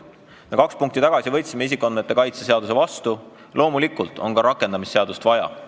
Kaks päevakorrapunkti tagasi me võtsime vastu isikuandmete kaitse seaduse ning loomulikult on ka rakendamisseadust vaja.